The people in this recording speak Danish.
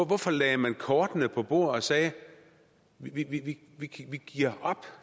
hvorfor lagde man kortene på bordet og sagde vi giver op